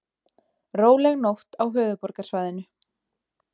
Róleg nótt á höfuðborgarsvæðinu